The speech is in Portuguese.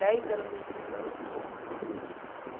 Dez anos numa instituição não é pouco.